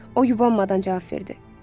O yubanmadan cavab verdi.